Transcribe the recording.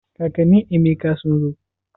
Kakanin Emeka sun zo?